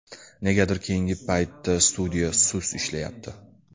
Negadir keyinga paytda studiya sust ishlayapti.